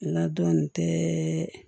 Ladɔn tɛ